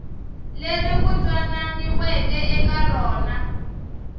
leri ku twananiweke eka rona